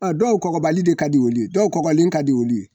Dɔw kɔgɔbali de ka di wuli ye , dɔw kɔbalilen ka di wuli ye.